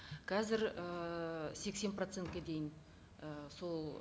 қазір ііі сексен процентке дейін і сол